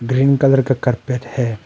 Green colour का carpet है।